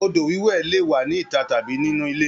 Odo wiwẹ le wà ní ita tàbí nínu ilé.